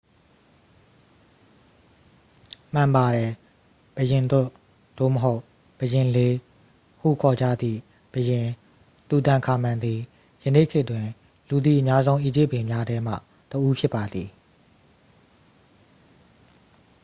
"မှန်ပါတယ်။ "ဘုရင်တွတ်" သို့မဟုတ် "ဘုရင်လေး" ဟု ခေါ်ကြသည့် ဘုရင် တူတန်ခါမန်သည် ယနေ့ခေတ်တွင် လူသိအများဆုံး အီဂျစ်ဘုရင်များထဲမှတစ်ဦး ဖြစ်ပါသည်။